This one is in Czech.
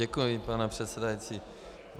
Děkuji, pane předsedající.